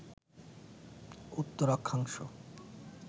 উত্তর অক্ষাংশ